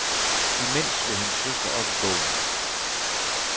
Imens slog hendes søster op i bogen.